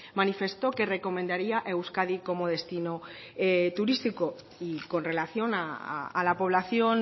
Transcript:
manifestó que recomendaría euskadi como destino turístico y con relación a la población